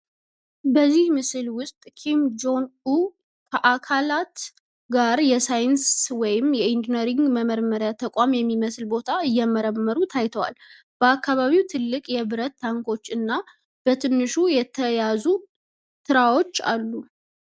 በዚህ ምስል ውስጥ ኪም ጆን ኡን ከአካላት ጋር የሳይንስ ወይም የአይነርጂ መረምሪያ ተቋም የሚመስል ቦታ እየተመረመሩ ታይተዋል። በአካባቢው ትልቅ የብረት ታንኮች እና በትንሽ የተያያዙ ትራትዎች አሉ።